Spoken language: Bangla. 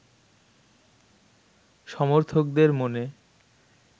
সমর্থকদের মনে